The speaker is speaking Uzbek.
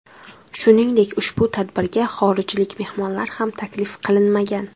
Shuningdek ushbu tadbirga xorijlik mehmonlar ham taklif qilinmagan.